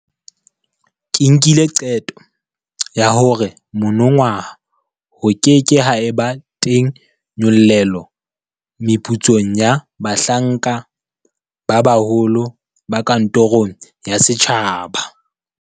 Ke nkile qeto ya hore monongwaha ho ke ke ha eba teng nyollelo meputsong ya bahlanka ba baholo ba kantorong ya setjhaba.